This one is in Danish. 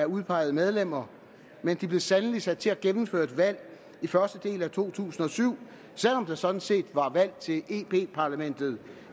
udpegede medlemmer men de blev sandelig sat til at gennemføre et valg i første del af to tusind og syv selv om der sådan set var valg til